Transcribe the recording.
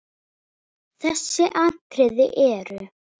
Þessi atriði eru